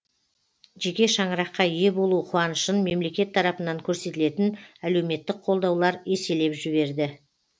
жеке шаңыраққа ие болу қуанышын мемлекет тарапынан көрсетілетін әлеуметтік қолдаулар еселеп жіберді